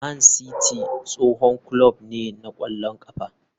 Man City tsohon kulob ne na ƙwallon ƙafa.